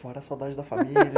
Fora a saudade da família.